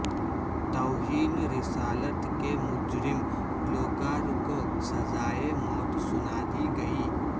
توہین رسالت کے مجرم گلو کار کوسزائے موت سنادی گئی